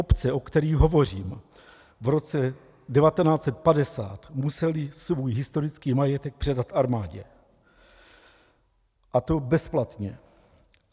Obce, o kterých hovořím, v roce 1950 musely svůj historický majetek předat armádě, a to bezplatně.